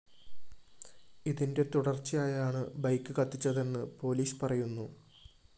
ഇതിന്റെ തുടര്‍ച്ചയായാണ് ബൈക്ക് കത്തിച്ചതെന്ന് പോലീസ് പറയുന്നു